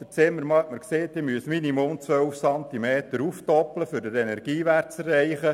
Der Zimmermann sagte, ich müsse um mindestens zwölf Zentimeter aufstocken, um den Energiewert zu erreichen.